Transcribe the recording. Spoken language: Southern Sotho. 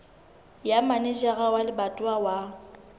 ya manejara wa lebatowa wa